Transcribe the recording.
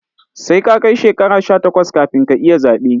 Sai ka kai shekara sha takwas kafin ka iya zaɓe